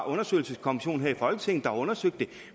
undersøgelseskommission her i folketinget der har undersøgt det